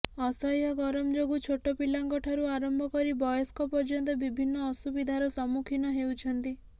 ଅସହ୍ୟ ଗରମ ଯୋଗୁଁ ଛୋଟ ପିଲାଙ୍କ ଠାରୁ ଆରମ୍ଭ କରି ବୟସ୍କ ପର୍ୟ୍ୟନ୍ତ ବିଭିନ୍ନ ଅସୁବିଧାର ସମ୍ମୁଖୀନ ହେଉଛନ୍ତି